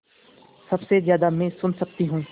सबसे ज़्यादा मैं सुन सकती हूँ